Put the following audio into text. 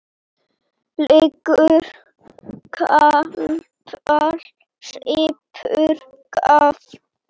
Leggur kapal, sýpur kaffið.